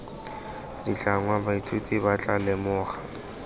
ditlhangwa baithuti ba tla lemoga